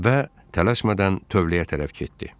və tələsmədən tövləyə tərəf getdi.